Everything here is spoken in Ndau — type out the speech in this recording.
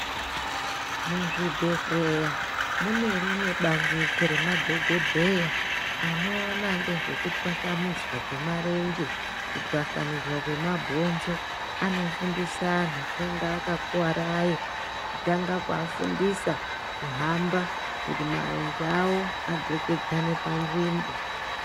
Muzvibhedhleya munerimwe bandiko remadhogodheya anoona nezvekutwasanudzwa kwemarenje, kutwasanudzwa kwemabhonzo, anofundisa antu anenge akakuvara aye, kutanga kuafundisa kuhamba kuti marenje avo adzokedzane panzvimbo.